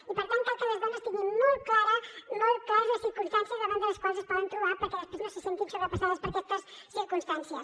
i per tant cal que les dones tinguin molt clares les circumstàncies davant de les quals es poden trobar perquè després no se sentin sobrepassades per aquestes circumstàncies